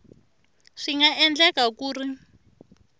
swi nga endleka ku ri